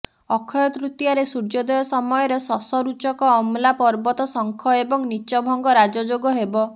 ଅକ୍ଷୟ ତୃତୀୟାରେ ସୂର୍ଯୋଦୟ ସମୟରେ ଶଶ ରୁଚକ ଅମଲା ପର୍ବତ ଶଙ୍ଖ ଏବଂ ନୀଚଭଙ୍ଗ ରାଜଯୋଗ ହେବ